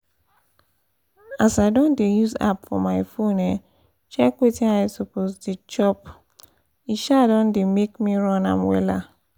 as i don dey use app for my phone um check wetin i suppose dey chop e um don dey make me run am wella